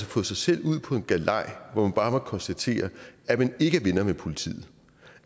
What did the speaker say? fået sig selv ud på en galej hvor vi bare må konstatere at man ikke er venner med politiet